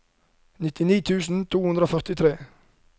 nittini tusen to hundre og førtitre